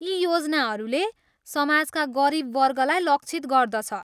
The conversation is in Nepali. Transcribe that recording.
यी योजनाहरूले समाजका गरिब वर्गलाई लक्षित गर्दछ।